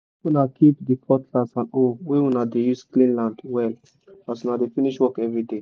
make una keep the cutlass and hoe wey una dey use clean land well as una dey finsh work everyday